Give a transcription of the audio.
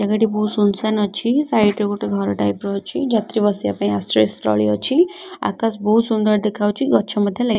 ଜାଗାଟି ବହୁତ୍ ସୁନସାନ୍ ଅଛି ସାଇଟ୍ ରେ ଗୋଟେ ଘର ଟାଇପ୍ ର ଅଛି ଯାତ୍ରୀ ବସିବା ପାଇଁ ଆଶ୍ରୟସ୍ଥଳୀ ଅଛି ଆକାଶ ବହୁତ୍ ସୁନ୍ଦର ଦେଖାଯାଉଚି ଗଛ ମଧ୍ୟ ଲାଗି--